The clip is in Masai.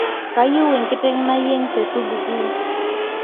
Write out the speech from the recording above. kayieu enkitek nayieng te supukuu